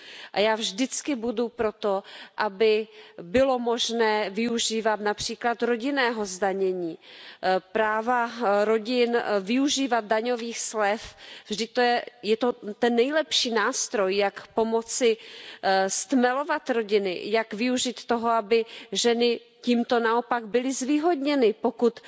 A já vždycky budu pro to, aby bylo možné využívat například rodinného zdanění, práva rodin využívat daňových slev, vždyť je to ten nejlepší nástroj, jak pomoci stmelovat rodiny, jak využít toho, aby ženy tímto naopak byly zvýhodněny, pokud